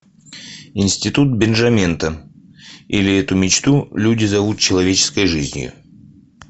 институт бенжамента или эту мечту люди зовут человеческой жизнью